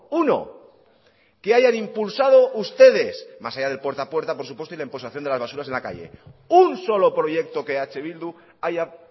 uno que hayan impulsado ustedes más allá del puerta a puerta por supuesto y la imposición de las basuras en la calle un solo proyecto que eh bildu haya